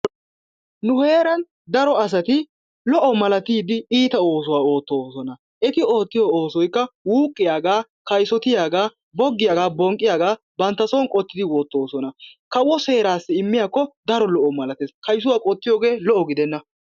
Nu heeran daro asati lo"o malatiidi iitaa oosuwa oottosona. Eti ootiyo oosoykka wuqqiyaaga, kayssotiyaaga, boggiyaaga bonqqiyaagaa bantta son qottidi woottoosona. Kawo seeraassi immiyaakko daro lo''o malattees, kayssuwa qottiyogee lo"o giddenna.